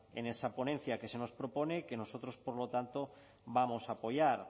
en esa ponencia que se nos propone y que nosotros por lo tanto vamos a apoyar